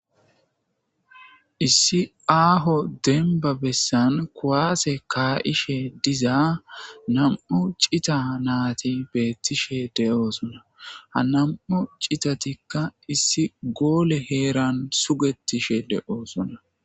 "Issi aaho dembba bessan kuwase ka'ishe diza nam'u cita nayti beetishe de'osona ha nam'u citatikka issi goole heeran sugetishe de'osona."